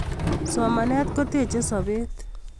Somanet kotechei sobet